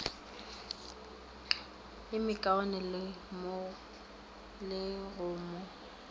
ye mekaone le go mo